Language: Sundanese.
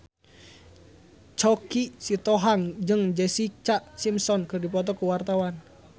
Choky Sitohang jeung Jessica Simpson keur dipoto ku wartawan